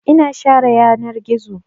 Ina share yanar gizo.